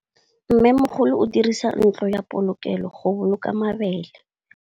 Mmêmogolô o dirisa ntlo ya polokêlô, go boloka mabele.